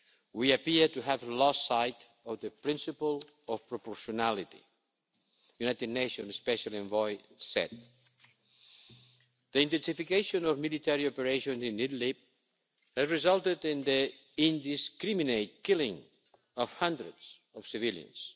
We appear to have lost sight of the principle of proportionality', the United Nations Special Envoy said. The intensification of military operations in Idlib has resulted in the indiscriminate killing of hundreds of civilians.